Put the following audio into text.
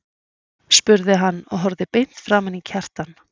spurði hann og horfði beint framan í Kjartan.